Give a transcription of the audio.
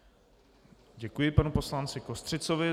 Děkuji panu poslanci Kostřicovi.